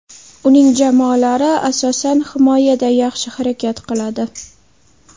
Uning jamoalari asosan, himoyada yaxshi harakat qiladi.